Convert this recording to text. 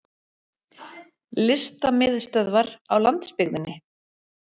Listamiðstöðvar á landsbyggðinni!